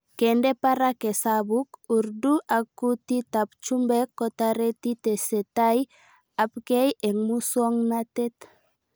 Kende parak hesabuk, Urdu ak kutit ab chumbek kotareti tesetai abkei eng' muswg'natet